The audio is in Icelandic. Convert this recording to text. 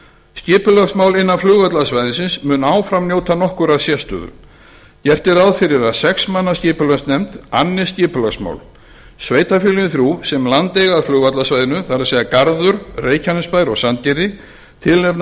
skipulagsmál innan flugvallarsvæðisins munu áfram njóta nokkurrar sérstöðu gert er ráð fyrir að sex manna skipulagsnefnd annist skipulagsmál sveitarfélögin þrjú sem land eiga að flugvallarsvæðinu garður reykjanesbær og sandgerði tilnefna